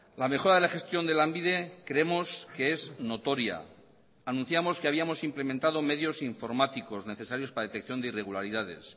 la mejora de la gestión de lanbide creemos que es notoria anunciamos que habíamos implementado medios informáticos necesarios para detección de irregularidades